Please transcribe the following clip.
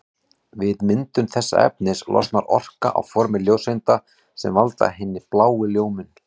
Við myndun þessa efnis losnar orka á formi ljóseinda sem valda hinni bláu ljómun.